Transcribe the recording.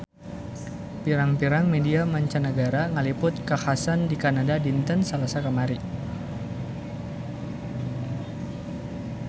Pirang-pirang media mancanagara ngaliput kakhasan di Kanada dinten Salasa kamari